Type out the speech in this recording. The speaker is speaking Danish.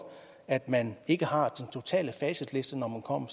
at man ikke har den totale facitliste når man kommer